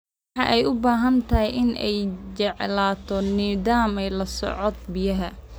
Waxa ay u baahantahay in ay yeelato nidaam la socodka biyaha.